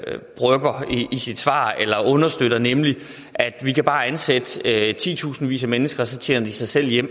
sit svar eller understøtter nemlig at vi bare kan ansætte titusindvis af mennesker så tjener de sig selv hjem